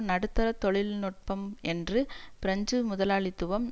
நடுத்தர தொழில் நுட்பம் என்று பிரெஞ்சு முதலாளித்துவம்